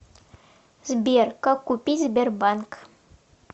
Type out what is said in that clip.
сбер как купить сбербанк